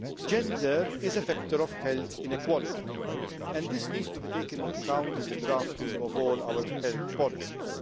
Gender is a factor of health inequality. This needs to be taken into account in the drafting of all our health policies.